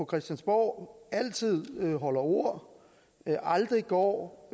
christiansborg altid holder ord aldrig går